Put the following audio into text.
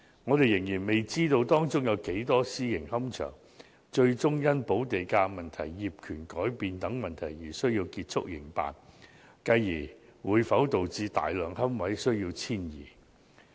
我們仍然未知道，有多少個私營龕場最終會因補地價問題、業權改變等而要結束營辦，繼而會否導致大量龕位需要遷移。